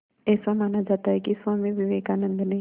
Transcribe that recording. ऐसा माना जाता है कि स्वामी विवेकानंद ने